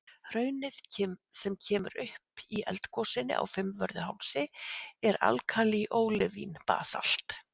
Hraunið sem kemur upp í eldgosinu á Fimmvörðuhálsi er alkalí-ólivín-basalt.